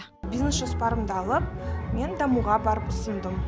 бизнес жоспарымды алып мен дамуға барып ұсындым